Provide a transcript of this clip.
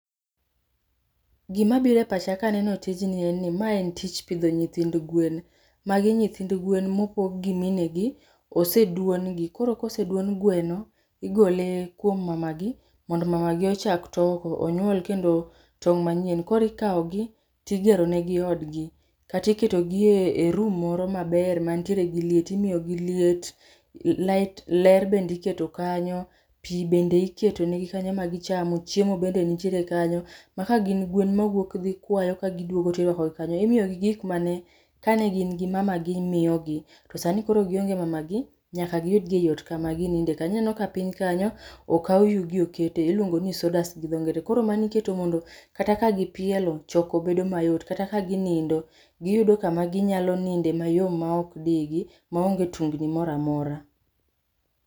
Gima biro e pacha kaneno tijni en ni ma en tich pidho nyithind gwen. Magi nyithind gwen mopog gi mine gi, oseduon gi. Koro koseduon gweno, igole kuom mama gi mondo mama gi ochak toko. Onyuol kendo tong' manyien. Koro ikao gi, tigero negi odgi. Kata iketo gi e room moro maber mantiere gi leit. Imiyo gi liet, light, ler bende iketo kanyo, pi bende iketo ne gi kanyo ma gichamo, chiemo bende nitiere kanyo. Ma ka gin gwen ma wuok dhi kwayo ka giduogo tirwako gi kanyo. Imiyo gi gik mane ka ne gin gi mama gi miyo gi. To sani koro gionge [c]smama gi nyaka giyud gi ei ot kama gininde. Ineno ka piny kanyo, okaw yugi okete. Iluongo ni sawdust gi dho ngere. Koro mano iketo mondo kata ka gi pielo, choko bedo mayot. Kata ka ginindo, giyudo kama ginyalo ninde mayom ma ok dii gi, ma onge tungni moramora.